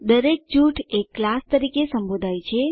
દરેક જૂથ એક ક્લાસ તરીકે સંબોધાય છે